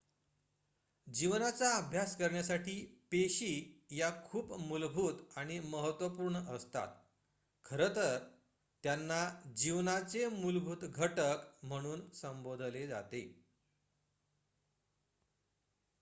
"जीवनाचा अभ्यास करण्यासाठी पेशी या खूप मूलभूत आणि महत्त्वपूर्ण असतात खरं तर त्यांना "जीवनाचे मूलभूत घटक" म्हणून संबोधले जाते.